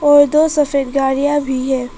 और दो सफेद गाड़ियां भी हैं।